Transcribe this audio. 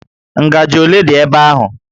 Ngajị ole dị ebe ahụ?